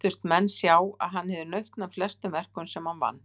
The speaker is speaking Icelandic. Þóttust menn og sjá að hann hefði nautn af flestum verkum sem hann vann.